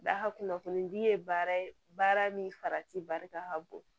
Da kunnafonidi ye baara ye baara min farati barika ka bon